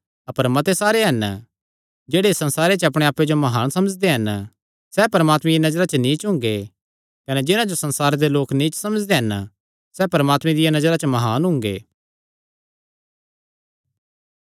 अपर मत्ते सारे हन जेह्ड़े इस संसारे च अपणे आप्पे जो म्हान समझदे हन सैह़ परमात्मे दिया नजरा च नीच हुंगे कने जिन्हां जो संसारे दे लोक नीच समझदे हन सैह़ परमात्मे दिया नजरा च म्हान हुंगे